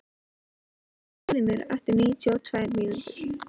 Kristofer, heyrðu í mér eftir níutíu og tvær mínútur.